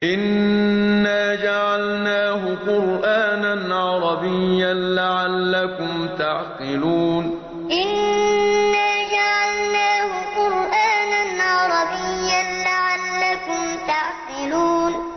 إِنَّا جَعَلْنَاهُ قُرْآنًا عَرَبِيًّا لَّعَلَّكُمْ تَعْقِلُونَ إِنَّا جَعَلْنَاهُ قُرْآنًا عَرَبِيًّا لَّعَلَّكُمْ تَعْقِلُونَ